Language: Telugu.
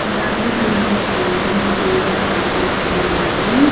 ఉన్నాయి దింట్లో కూల్ డ్రింక్స్ కూడా కనిపిస్తున్నాయి.